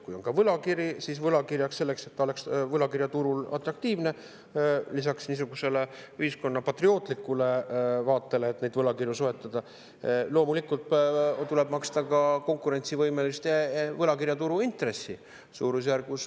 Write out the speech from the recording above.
Kui on ka võlakirjad, siis selleks, et need oleks võlakirjaturul atraktiivsed, on lisaks niisugusele ühiskonna patriootlikule vaatele, miks neid võlakirju soetada, vaja loomulikult maksta ka konkurentsivõimelist turuintressi.